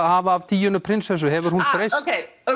hafa af Díönu prinsessu hefur hún breyst ókei